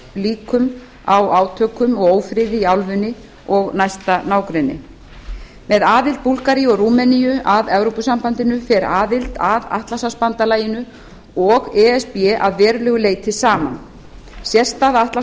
líkum á átökum og ófriði í álfunni og næsta nágrenni með aðild búlgaríu og rúmeníu að evrópusambandinu fer aðild að atlantshafsbandalagið og e s b að verulegu leyti saman sérstaða